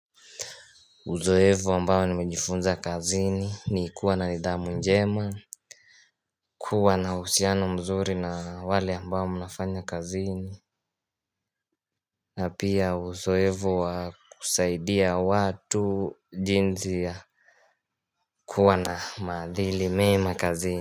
Uzoefu ambao nimejifunza kazini ni kuwa na nidhamu njema kuwa na uhusiano mzuri na wale ambao mnafanya kazini na pia uzoefu wa kusaidia watu jinsi ya kuwa na maadili mema kazini.